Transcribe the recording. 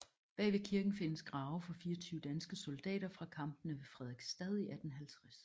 Bagved kirken findes grave for 24 danske soldater fra kampene ved Frederiksstad i 1850